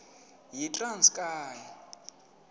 yitranskayi